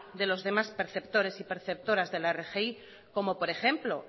de los demás perceptores y perceptoras de la rgi como por ejemplo